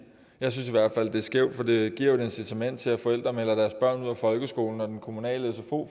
jeg synes i hvert fald det er skævt for det giver jo et incitament til at forældre melder deres børn ud af folkeskolen og den kommunale sfo